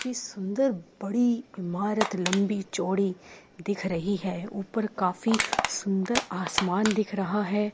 काफी सुंदर बड़ी इमारत लम्बी चौड़ी दिख रही है ऊपर काफी सुंदर आसमान दिख रहा है।